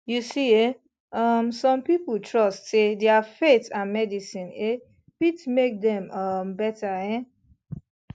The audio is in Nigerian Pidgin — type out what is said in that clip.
you see eh um some people trust say their faith and medicine eh fit make dem um better um